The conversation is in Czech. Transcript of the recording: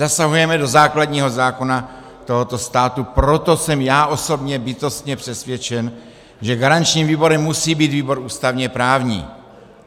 Zasahujeme do základního zákona tohoto státu, proto jsem já osobně bytostně přesvědčen, že garančním výborem musí být výbor ústavně-právní.